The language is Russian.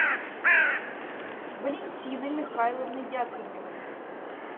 валентины михайловны яковлевой